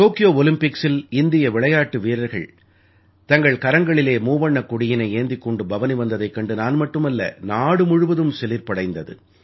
Tokyo ஒலிம்பிக்ஸில் இந்திய விளையாட்டு வீரர்கள் தங்கள் கரங்களிலே மூவண்ணக் கொடியினை ஏந்திக் கொண்டு பவனி வந்ததைக் கண்டு நான் மட்டுமல்ல நாடு முழுவதும் சிலிர்ப்படைந்தது